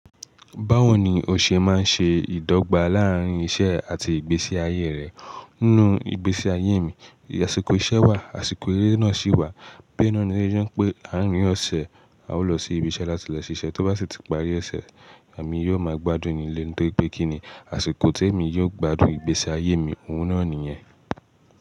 Báwo ni o ṣe máa ń ṣe ìdọ́gba láàrín iṣẹ́ àti ìgbésí ayé rẹ? Nínú ìgbésí ayé mi, àsìkò iṣẹ́ wà, àsìkò eré náà sì wà. Tori ẹ náà ni yóò jẹ́ pé àárín ọ̀sẹ̀ a ó lọ sí ibi iṣẹ́ láti lè ṣiṣẹ́, tó bá sì ti parí ẹsẹ̀, èmi yóò ma gbádùn nílé, torí pé kí ni àsìkò tí èmi yóò gbádùn ìgbésí ayé mi, òun náà nìyẹn.